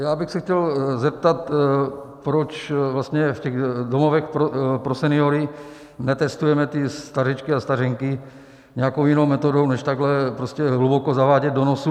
Já bych se chtěl zeptat, proč vlastně v těch domovech pro seniory netestujeme ty stařečky a stařenky nějakou jinou metodou než takhle, prostě hluboko zavádět do nosu.